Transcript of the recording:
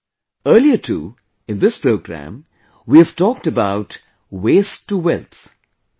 Earlier too in this programme we have talked about 'Waste to Wealth' i